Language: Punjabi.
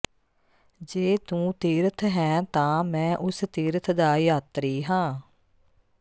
ਜੇ ਤੂੰ ਤੀਰਥ ਹੈਂ ਤਾਂ ਮੈਂ ਉਸ ਤੀਰਥ ਦਾ ਯਾਤਰੀ ਹਾਂ